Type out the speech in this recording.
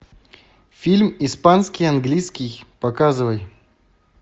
фильм испанский английский показывай